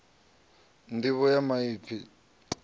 nḓivho ya maipfi i ṱoḓa